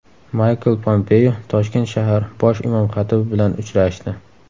Maykl Pompeo Toshkent shahar bosh imom xatibi bilan uchrashdi.